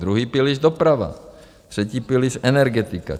Druhý pilíř doprava, Třetí pilíř energetika.